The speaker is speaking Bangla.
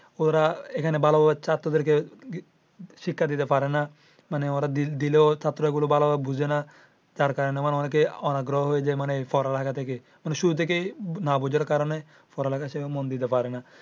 ওরা এখানে শিক্ষা দিতে পারে না মানে ওরা দিলে ও ছাত্র ওগুলা ভালো ভাবে বোঝে না। যার কারণে অনেকেই অনাগ্রহ হয়ে যাই মানে পড়ালিখা থেকে মানে শুরু থেকেই না বোঝার কারণে পড়া লেখায় মনোযোগ দিতে পারে না।